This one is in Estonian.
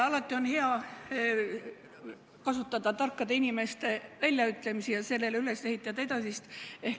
Alati on hea kasutada tarkade inimeste ütlemisi ja nendele edasist üles ehitada.